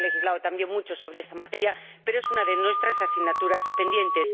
Se ha legislado mucho sobre esta materia, pero es una de nuestras asignaturas pendientes.